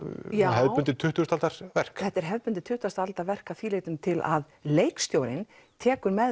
hefðbundið tuttugustu aldar verk já þetta er hefðbundið tuttugustu aldar verk að því leytinu til að leikstjórinn tekur